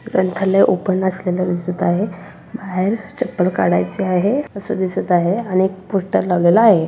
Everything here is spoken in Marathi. ग्रंथालय ओपन असलेल दिसत आहे बाहेर चप्पल काढायची आहे अस दिसत आहे आणि एक पोस्टर लावलेल आहे.